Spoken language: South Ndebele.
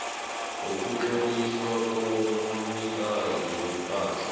wokutloliswa kobunikazi bepahla